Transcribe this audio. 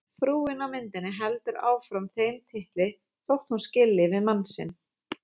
Frúin á myndinni heldur áfram þeim titli þótt hún skilji við mann sinn.